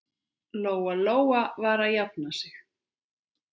Lóa-Lóa var að jafna sig.